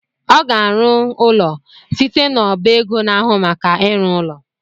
Ọ ga-arụ ụlọ site n’ọba ego na-ahụ maka ịrụ ụlọ